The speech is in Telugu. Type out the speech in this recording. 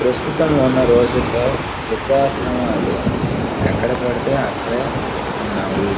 ప్రస్తుతం ఉన్న రోజుల్లో వృద్ధాశ్రమాలు ఎక్కడపడితే అక్కడే ఉన్నాయి.